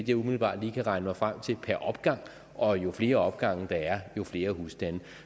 jeg umiddelbart kan regne mig frem til per opgang og jo flere opgange der er jo flere husstande